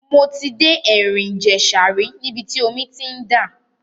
Mo ti dé ẹ̀rìn ìjẹ̀ṣà rí níbi tí omi ti ń dà.